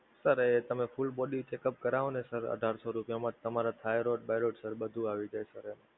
sir એ તમે full body checkup કરાવો ને sir અઢારસો રૂપિયામાં તમારા thyroid બાયરોડ બધુ આવી જાય sir